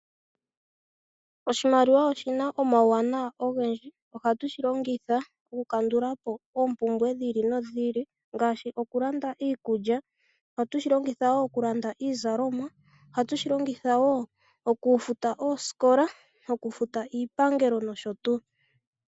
Oshimaliwa oshina omauwanawa ogendji. Ohatu shi longitha oku kandulapo ompumbwe dhilipo no dhi ili ngaashi okulanda iikulya, ohatu shi longitha wo okulanda iizalomwa, ohatu shi longitha woo oku futa ooskola, okufuta iipangelo noshotuu.